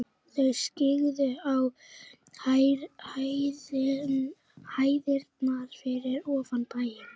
Þau skyggðu á hæðirnar fyrir ofan bæinn.